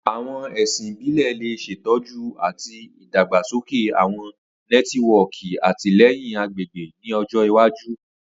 Awọn ẹsin ibile le ṣetọju ati idagbasoke awọn nẹtiwọọki atilẹyin agbegbe ni ọjọ iwaju.